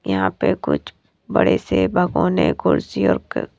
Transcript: यहां पे कुछ बड़े से भगौने कुर्सी और --